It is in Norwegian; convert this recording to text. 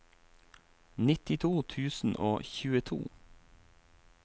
nittito tusen og tjueto